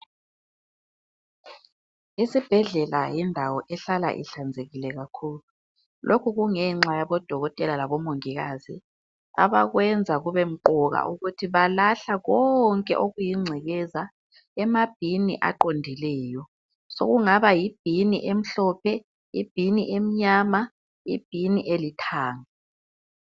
Isibhedlela yindawo ehlala ihlanzekile kakhulu. Lokhu kungenxa yabodokotela labomongikazi abakwenza kubemqoka ukuthi balahla konke okuyingcekeza emabhini aqondileyo. Sekungaba yibhini emhlophe, yibhini emnyama, yibhini elithanga.